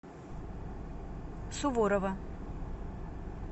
суворова